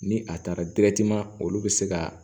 Ni a taara olu bɛ se ka